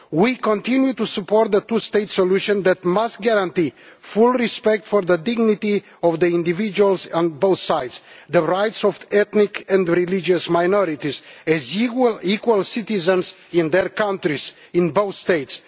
We continue to support a two state solution that must guarantee full respect for the dignity of the individuals on both sides and the rights of ethnic and religious minorities as equal citizens in their countries in both states.